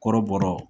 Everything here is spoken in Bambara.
Kɔrɔbɔrɔ